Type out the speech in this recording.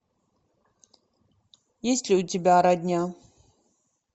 есть ли у тебя родня